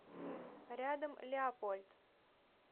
рядом леопольд